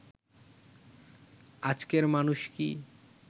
আজকের মানুষ কি